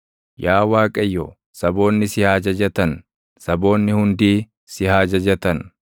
Yaa Waaqayyo, saboonni si haa jajatan; saboonni hundii si haa jajatan.